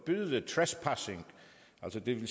lidt principiel i